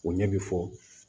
O ɲɛ bi fɔ